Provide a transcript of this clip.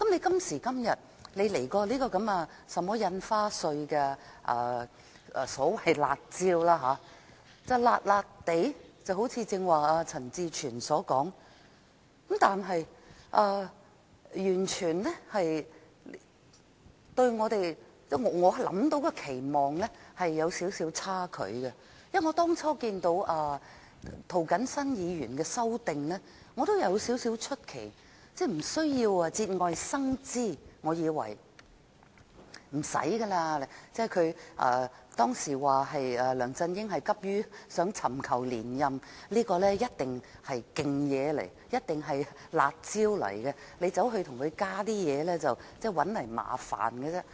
今時今日，政府推出這項有關印花稅的所謂"辣招"，它是有點兒"辣"，一如剛才陳志全議員所說，但卻與我所期望的有少許差距，因為我當初看到涂謹申議員的修正案也感到少許出奇，我以為無須節外生枝，梁振英當時只急於尋求連任，推出這項措施必定是"辣招"，大家再加進其他東西，只會自找麻煩。